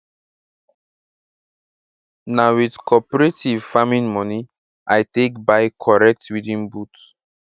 na with cooperative farming moni i take buy corrent weeding boot